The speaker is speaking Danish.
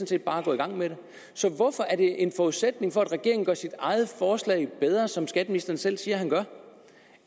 set bare gå i gang med det så hvorfor er det en forudsætning for at regeringen gør sit eget forslag bedre som skatteministeren selv siger han gør